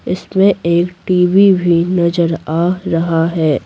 इसमें एक टी_वी भी नजर आ रहा है।